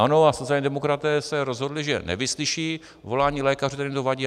ANO a sociální demokraté se rozhodli, že nevyslyší volání lékařů, kterým to vadí.